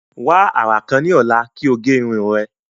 Wa ara kan ni ọla ki o ge irun rẹ.